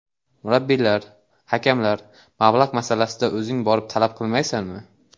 Murabbiylar, hakamlar, mablag‘ masalasida o‘zing borib talab qilmaysanmi?